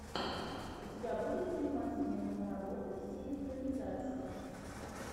у тебя будет занимательная киноработа в стиле экранизации